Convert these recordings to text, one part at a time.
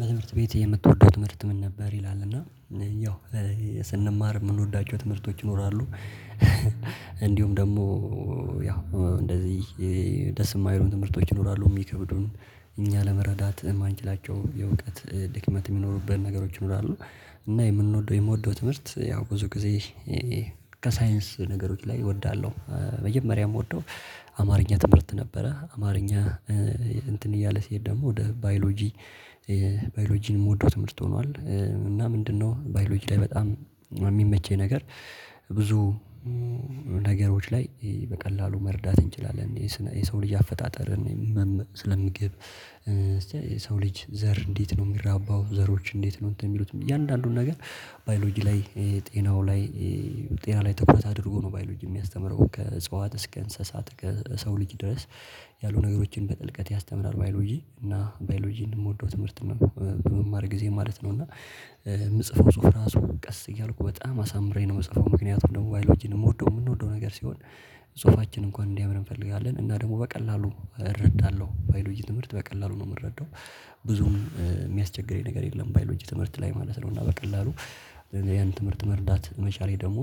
በትምህርት ቤት የምትወደው ትምህርት ምን ነበር? ይላል እና ያው ስንማር የምንወዳቸው ትምህርቶች ይኖራሉ። እንዲሁም ደግሞ ያው እንደዚህ ደስ የማይሉን ትምህርቶች ይኖራሉ የሚከብዱን። እኛ ለመረዳት የማንችላቸው የእውቀት ድክመት የሚኖሩበት ነገሮች እንዳሉ እና የምንወደው የምወደው ትምህርት ያው ብዙ ጊዜ ከሳይንስ ነገሮች ላይ እወዳለሁ። መጀመሪያ ምወደው አማርኛ ትምህርት ነበረ። አማርኛ እንትን እያለ ሲሄድ ደግሞ ወደ ባዮሎጂ ባዮሎጂን የምወደው ትምህርት ሆኗል። እና ምንድነው ባዮሎጂ ላይ በጣም የሚመቸኝ ነገር ብዙ ነገሮች ላይ በቀላሉ መረዳት እንችላለን የሰው ልጅ አፈጣጠርን። ስለምግብ እስቲ የሰው ልጅ ዘር እንዴት ነው የሚራባው ዘሮች እንዴት ነው የሚሉትም እያንዳንዱን ነገር? ባዮሎጂ ላይ ጤናው ላይ ጤና ላይ ትኩረት አድርጎ ነው ባዮሎጂ የሚያስተምረው ከእጽዋት እስከ እንስሳት ከሰው ልጅ ድረስ ያሉ ነገሮችን በጥልቀት ያስተምራል። ባዮሎጂ እና ባዮሎጂን የምወደው ትምህርት በምማር ጊዜ ማለት ነው። እና የምጽፈው ጽሁፍ ራሱ ቀስ እያልኩ በጣም አሳምሬ ነው የምጽፈው ምክንያቱም ደግሞ ባይሎጅን የምወደው የምንወደው ነገር ሲሆን ጽሁፋችን እንኳን እንዲያምር እንፈልጋለን። እና ደግሞ በቀላሉ እረዳለሁ ባይሎጂ ትምህርት በቀላሉ ነው የምረዳው ብዙም የሚያስቸግረኝ ነገር የለም። ባይሎጂ ትምህርት ላይ ማለት ነው እና በቀላሉ ያን ትምህርት መረዳት መቻሌ ደግሞ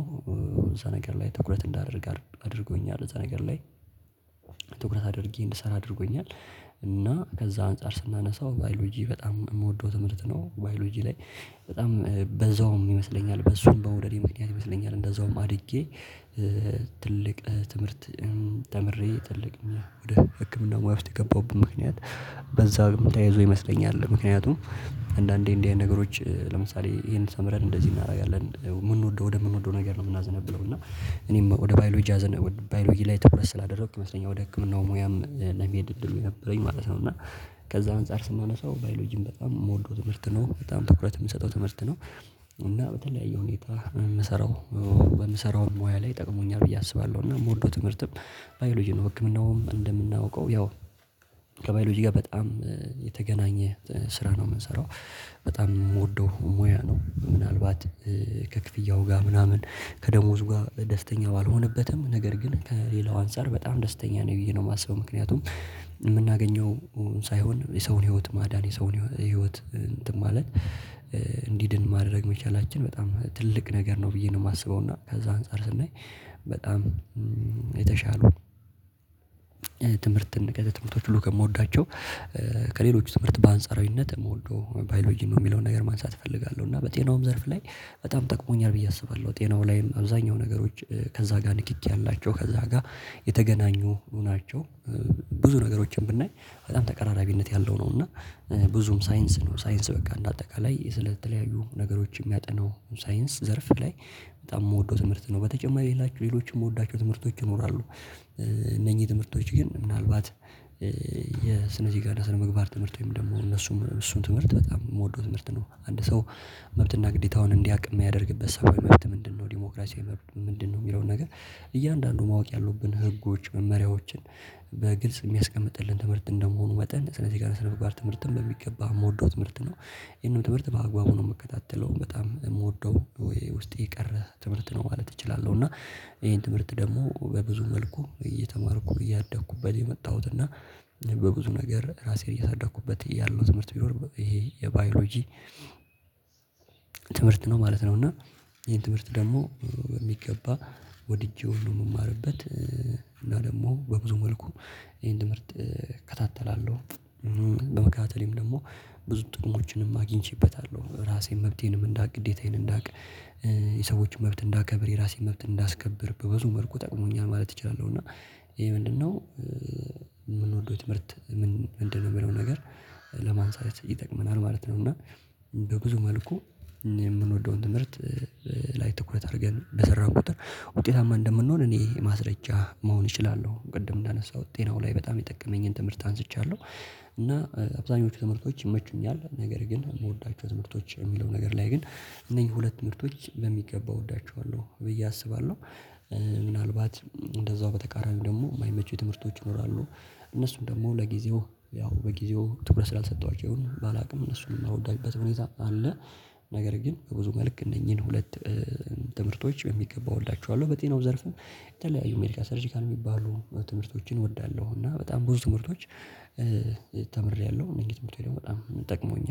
እዛ ነገር ላይ ትኩረት እንዳደርግ አድርጎኛል። እዛ ነገር ላይ ትኩረት አድርጌ እንድሰራ አድርጎኛል። እና ከዛ አንፃር ስናነሳው ባዮሎጂ በጣም የምወደው ትምህርት ነው። ባዮሎጂ ላይ በጣም በዛውም ይመስለኛል በሱም በመዉደዴ ምክንያት ይመስለኛል እንደዛውም አድጌ ትልቅ ትምህርት ተምሬ ትልቅ እና ወደ ህክምና ሙያ ውስጥ የገባሁበት ምክንያት። በዛ ተያይዞ ይመስለኛል ምክንያቱም አንዳንዴ እንዲህ አይነት ነገሮች ለምሳሌ ይሄን ተምረን እንደዚህ እናደርጋለን የምንወደው ወደምንወደው ነገር ነው የምናዝነብለው እና እኔም ወደ ባዮሎጂ አዘነበልኩ ባዮሎጂ ላይ ትኩረት ስላደረኩኝ ይመስለኛል ወደ ህክምናው ሙያም ለመሄድ እድሉ የነበረኝ ማለት ነው። እና ከዛ አንፃር ስናነሳው ባዮሎጂም በጣም የምወልደው ትምህርት ነው በጣም ትኩረት የምሰጠው ትምህርት ነው። እና በተለያየ ሁኔታ የምሰራው በምሰራው ሙያ ላይ ይጠቅሙኛል ብዬ አስባለሁ እና ምወደው ትምህርትም ባዮሎጂ ነው። ህክምናውም እንደምናውቀው ያው ከባዮሎጂ ጋር በጣም የተገናኘ ስራ ነው የምንሰራው በጣም የምወደው ሙያ ነው። ምናልባት ከክፍያው ጋር ምናምን ከደሞዝ ጋር ደስተኛ ባልሆነበትም ነገር ግን ከሌላው አንፃር በጣም ደስተኛ ነው ብዬ ነው የማስበው ምክንያቱም የምናገኘው ሳይሆን የሰውን ህይወት ማዳን የሰውን ህይወት እንትን ማለት እንዲድን ማድረግ መቻላችን በጣም ትልቅ ነገር ነው ብዬ ነው የማስበው። እና ከዛ አንፃር ስናይ በጣም የተሻሉ ትምህርት ትምህርቶች ሁሉ ከምወዳቸው ከሌሎች ትምህርት በአንጻራዊነት መወደው ባዮሎጂ ነው። የሚለውን ነገር ማንሳት እፈልጋለሁ እና በጤናውም ዘርፍ ላይ በጣም ጠቅሞኛል ብዬ አስባለሁ ጤናው ላይም አብዛኛው ነገሮች ከዛ ጋር ንክኪ አላቸው ከዛ ጋር የተገናኙ ናቸው። ብዙ ነገሮችን ብናይ በጣም ተቀራራቢነት ያለው ነው እና ብዙም ሳይንስ ነው ሳይንስ በቃ እንደ አጠቃላይ ስለተለያዩ ነገሮች የሚያጠናው ሳይንስ ዘርፍ ላይ በጣም የምወደው ትምህርት ነው። በተጨማሪ ሌሎችም የምወዳቸው ትምህርቶች ይኖራሉ እነኚህ ትምህርቶች ግን ምናልባት የስነ ዜጋና ስነምግባር ትምህርት ወይም ደግሞ እነሱም እሱን ትምህርት በጣም የምወደው ትምህርት ነው። አንድ ሰው መብትና ግዴታውን እንዲያውቅ የሚያደርግበት ሰብአዊ መብት ምንድነው? ዲሞክራሲ ምንድነው? የሚለውን ነገር እያንዳንዱ ማወቅ ያሉብን ህጎች መመሪያዎችን በግልጽ የሚያስቀምጥልን ትምህርት እንደመሆኑ መጠን ስነ ዜጋና ስነምግባር ትምህርትን በሚገባ የምወደው ትምህርት ነው። ይሄንን ትምህርት በአግባቡ ነው የምከታተለው በጣም የምወደው ወይ ውስጥ የቀረ ትምህርት ነው ማለት እችላለሁ። እና ይሄን ትምህርት ደግሞ በብዙ መልኩ እየተማርኩ እያደኩበት የመጣሁት እና በብዙ ነገር ራሴን እየሳደኩበት ያለው ትምህርት ቢኖር ይሄ የባዮሎጂ ትምህርት ነው ማለት ነው። እና ይሄን ትምህርት ደግሞ በሚገባ ወድጄ ሁሉ የምማርበት እና ደግሞ በብዙ መልኩ ይሄን ትምህርት እከታተላለሁ። በመከታተሌም ደግሞ ብዙ ጥቅሞችንም አግኝቼበታለሁ ራሴን መብቴንም እንዳቅ ግዴታዬን እንዳቅ የሰዎችን መብት እንዳከብር የራሴን መብት እንዳስከብር በብዙ መልኩ ጠቅሞኛል ማለት እችላለሁ። እና ይሄ ምንድነው? የምንወደው ትምህርት ምንድን ነው? የሚለውን ነገር ለማንሳት ይጠቅመናል ማለት ነው። እና በብዙ መልኩ የምንወደውን ትምህርት ላይ ትኩረት አድርገን በሰራን ቁጥር ውጤታማ እንደምንሆን እኔ ማስረጃ መሆን እችላለሁ ቅድም እንዳነሳሁት ጤናው ላይ በጣም የጠቀመኝን ትምህርት አንስቻለሁ። እና አብዛኞቹ ትምህርቶች ይመቹኛል ነገር ግን የምወዳቸው ትምህርቶች የሚለው ነገር ላይ ግን እነኚህ ሁለት ትምህርቶች በሚገባ እወዳቸዋለሁ ብዬ አስባለሁ። ምናልባት እንደዛው በተቃራኒው ደግሞ የማይመቸው ትምህርቶች ይኖራሉ። እነሱም ደግሞ ለጊዜው ያው በጊዜው ትኩረት ስላልሰጠዋቸው ይሁን ባላውቅም እነሱን የማልወድባቸው ሁኔታ አለ። ነገር ግን በብዙ መልክ እነኚህን ሁለት ትምህርቶች በሚገባ እወዳቸዋለሁ በጤናው ዘርፍም የተለያዩ ሜዲካል ሰርጂካል የሚባሉ ትምህርቶችን እወዳለሁ። እና በጣም ብዙ ትምህርቶች ተምሬያለሁ እነኚህ ትምህርትቶች ደግሞ በጣም ጠቅመውኛል